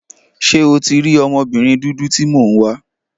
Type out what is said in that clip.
Ṣé o tí rí ọmọbìnrin dúdú tí mo ń wá